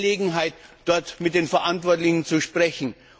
Wir hatten die Gelegenheit, dort mit den Verantwortlichen zu sprechen.